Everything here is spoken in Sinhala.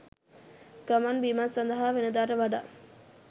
ගමන්බිමන් සඳහා වෙනදාට වඩා